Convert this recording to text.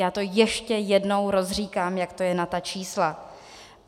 Já to ještě jednou rozříkám, jak to je na ta čísla.